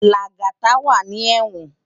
Lagata wá ni èwòn